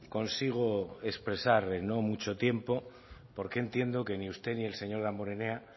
consigo expresar en no mucho tiempo porque entiendo que ni usted ni el señor damborenea